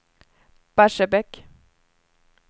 Barsebäck